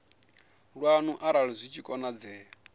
lwanu arali zwi tshi konadzea